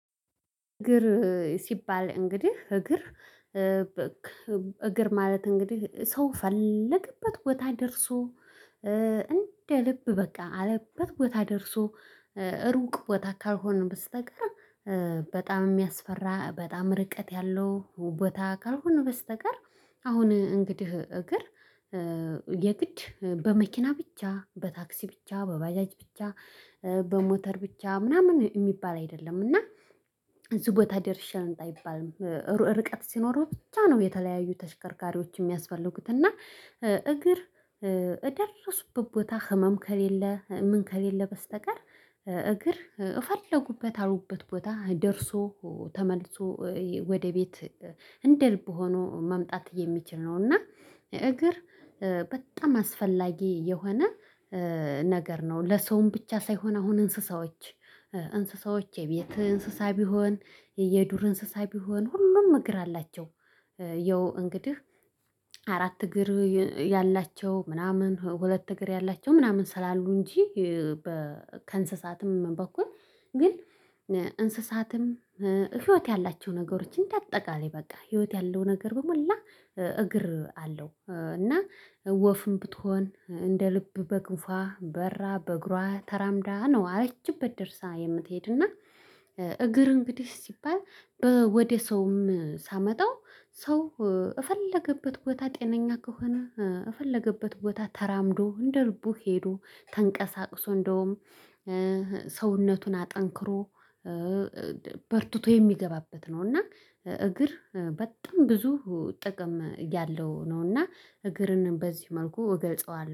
እግር ሲባል እንግዲህ እግር እግር ማለት እንግዲህ ሰው ፈለገበት ቦታ ደርሶ እንደ ልብ በቃ አለበት ቦታ ደርሶ። ሩቅ ቦታ ካልሆነ በስተቀር በጣም የሚያስፈራ በጣም ርቀት ያለው ቦታ ካልሆነ በስተቀር። አሁን እንግዲህ እግር የግድ በመኪና ብቻ በታክሲ ብቻ በባጃጅ ብቻ በሞተር ብቻ ምናምን የሚባል አይደለም እና እዚህ ቦታ ደርሼ ልምጣ አይባልም። ርቀት ሲኖረው ብቻ ነው የተለያዩ ተሽከርካሪዎች የሚያስፈልጉት እና። እግር እደርሱበት ቦታ ህመም ከሌለ ምን ከሌለ በስተቀር እግር የፈለጉበት ያሉበት ቦታ ደርሶ ተመልሶ ወደ ቤት እንደልብ ሆኖ መምጣት የሚችል ነው። እና እግር በጣም አስፈላጊ የሆነ ነገር ነው። ለሰውም ብቻ ሳይሆን አሁን እንስሳዎች እንስሳዎች የቤት እንስሳ ቢሆን የየዱር እንስሳ ቢሆን ሁሉም እግር አላቸው። ያው እንግዲህ አራት እግር ያላቸው ምናምን ሁለት እግር ያላቸው ምናምን ስላሉ እንጂ በከእንሰሳትም በኩል ግን እንስሳትም ህይወት ያላቸው ነገሮች እንደአጠቃላይ በቃ ህይወት ያለው ነገር በሞላ እግር አለው። እና ወፍም ብትሆን እንደ ልብ በክንፏ በራ በእግሯ ተራምዳ ነው ያለችበት ደርሳ የምትሄድና። እግር እንግዲህ ሲባል በ ወደ ሰውም ሳመጣው ሰው የፈለገበት ቦታ ጤነኛ ከሆነ የፈለገበት ቦታ ተራምዶ እንደልቡ ሄዶ ተንቀሳቅሶ እንደውም ሰውነቱን አጠንክሮ በርትቶ የሚገባበት ነው። እና እግር በጣም ብዙ ጥቅም ያለው ነውና እግርንም በዚህ መልኩ እገልጸዋለሁ